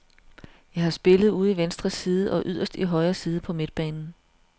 Jeg har spillet ude i venstre side og yderst i højre side på midtbanen.